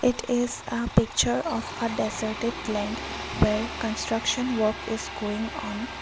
it is a picture of a deserted land where construction work is going on.